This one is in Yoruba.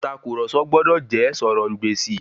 Ìtàkurọ̀sọ gbọdọ̀ jẹ́ sọ̀rọ̀-ǹ-gbèsì.